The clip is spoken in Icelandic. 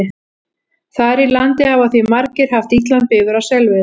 Þar í landi hafa því margir haft illan bifur á selveiðum.